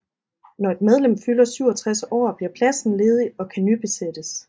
Når et medlem fylder 67 år bliver pladsen ledig og kan nybesættes